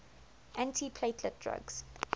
antiplatelet drugs